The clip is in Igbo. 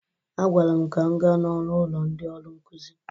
A gwara m ka m gaa n'ọnụ ụlọ ndị ọrụ nkuzi